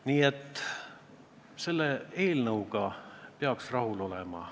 Nii et selle eelnõuga peaksime rahul olema.